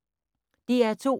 DR2